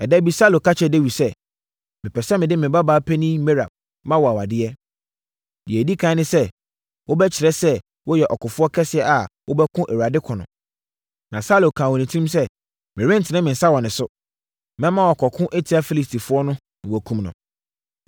Ɛda bi Saulo ka kyerɛɛ Dawid sɛ, “Mepɛ sɛ mede me babaa panin Merab ma wo awadeɛ. Deɛ ɛdi ɛkan ne sɛ wobɛkyerɛ sɛ woyɛ ɔkofoɔ kɛseɛ a wobɛko Awurade ko no.” Na Saulo kaa wɔ ne tirim sɛ, “Merentene me nsa wɔ ne so. Mɛma wakɔko atia Filistifoɔ no na wɔakum no.”